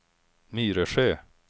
Myresjö